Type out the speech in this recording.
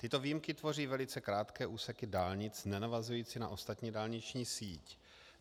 Tyto výjimky tvoří velice krátké úseky dálnic nenavazující na ostatní dálniční síť.